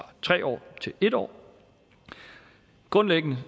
tre år til en år grundlæggende